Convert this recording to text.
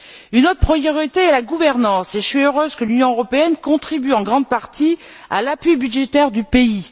Une autre priorité est la gouvernance et je suis heureuse que l'Union européenne contribue en grande partie à l'appui budgétaire du pays.